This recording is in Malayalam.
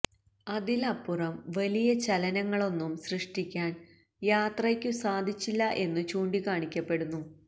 അതിലപ്പുറം വലിയ ചലനങ്ങളൊന്നും സൃഷ്ടിക്കാന് യാത്രയ്ക്കു സാധിച്ചില്ല എന്നു ചൂണ്ടിക്കാണിക്കപ്പെടുന്നു